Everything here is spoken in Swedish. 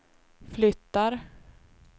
flyttar